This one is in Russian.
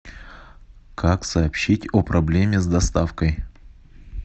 как сообщить о проблеме с доставкой